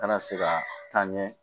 Kana se ka taa ɲɛ